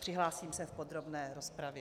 Přihlásím se v podrobné rozpravě.